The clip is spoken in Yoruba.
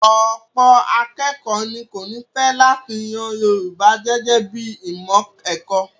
Ọ̀pọ̀ akékọ̀ọ́ ní kò ní fẹ́ láti yan Yorùbá gẹ́gẹ́ bí i ìmọ̀ ẹ̀kọ́.